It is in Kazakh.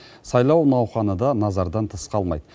сайлау науқаны да назардан тыс қалмайды